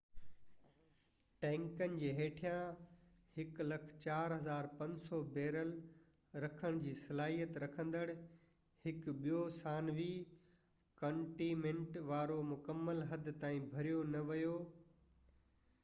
ٽينڪن جي هيٺان 104،500 بيرل رکڻ جي صلاحيت رکندڙ هڪ ٻيو ثانوي ڪنٽينمينٽ وارو مڪمل حد تائين ڀريو نه ويو